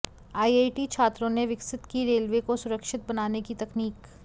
IIT छात्रों ने विकसित की रेलवे को सुरक्षित बनाने की तकनीक